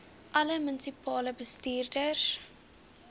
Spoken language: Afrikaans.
alle munisipale bestuurders